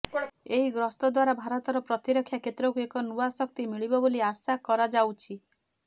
ଏହି ଗସ୍ତ ଦ୍ବାରା ଭାରତର ପ୍ରତିରକ୍ଷା କ୍ଷେତ୍ରକୁ ଏକ ନୂଆ ଶକ୍ତି ମିଳିବ ବୋଲି ଆଶା କରାଯାଉଛି